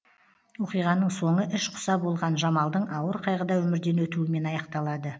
оқиғаның соңы іш құса болған жамалдың ауыр қайғыда өмірден өтуімен аяқталады